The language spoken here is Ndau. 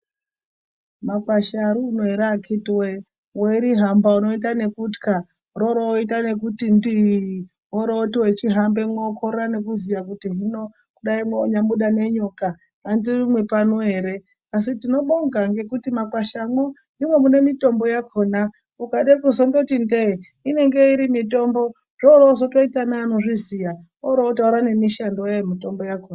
Makwasha ariuno ere akhiti wee weirihamba unoita nekutwa roroita nekuti ndiiii . Worooti wechihambemwo wokorera nekuziya kuti hino dai mwanyabuda nenyoka handirumwi pano ere asi tiinobonga ngekuti mumakwashamwo ndimwo mune mitombo yakhona .Ukade kuzondoti ndee inenge iri mitombo zvorozotoita neanozviziya orootaura nemishando yayo mitombo yakhona.